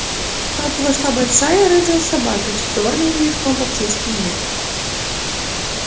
в хату вошла большая рыжая собака с чёрным ремешком по всей спине